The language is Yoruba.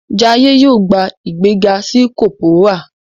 Jaiye yóò gbà ìgbéga sí Corporal.